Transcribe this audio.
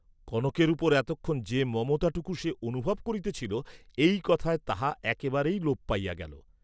কনকের উপর এতক্ষণ যে মমতাটুকু সে অনুভব করিতেছিল এই কথায় তাহা একেবারেই লোপ পাইয়া গেল।